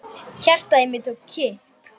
Hjartað í mér tók kipp.